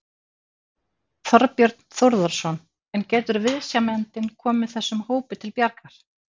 Þorbjörn Þórðarson: En getur viðsemjandinn komið þessum hópi til bjargar?